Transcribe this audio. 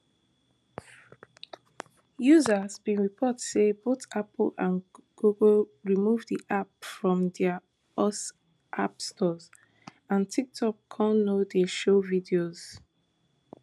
users bin report say both apple and google remove di app from dia us app stores and tiktokcom no dey show videos